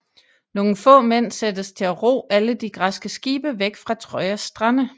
Nogle få mænd sættes til at ro alle de græske skibe væk fra Trojas strande